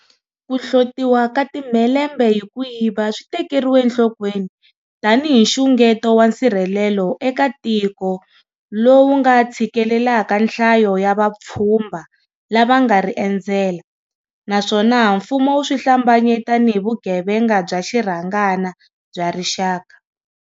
Ku hlotiwa ka timhelembe hi ku yiva swi tekeriwe enhlokweni tanihi nxungeto wa nsirhelelo eka tiko lowu nga tshikelelaka nhlayo ya vapfhumba lava nga ri endzela, naswona mfumo wu swi hlambanye tanihi vugevenga bya xirhangana bya rixaka.